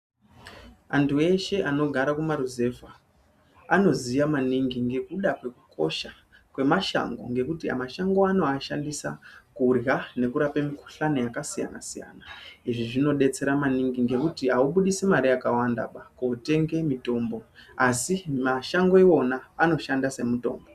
Antu eshe anogara kumaruzevha anoziya maningi ngekuda kwekukosha kwemashango ngekuti mashango anowashandisa kuhya nekurape mukuhlani yakasiyana siyana izvi zvinodetsera maningi ngekuti aubudisi mari yakawandaba kotenge mutombo asi mashango wona anoshanda semutombo.